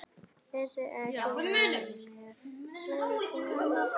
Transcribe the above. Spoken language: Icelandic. Vissi ekki af mér, lengi.